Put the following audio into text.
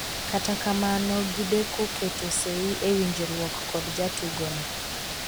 kata kamano gideko keto sei ewinjruok kod jatugo'no